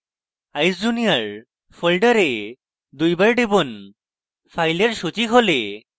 eyesjunior folder দুইবার টিপুন files সূচী খোলে